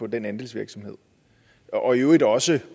den andelsvirksomhed og i øvrigt også